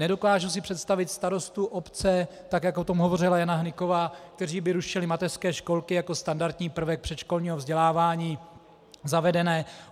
Nedokážu si představit starosty obce, tak jak o tom hovořila Jana Hnyková, kteří by rušili mateřské školky jako standardní prvek předškolního vzdělávání zavedené.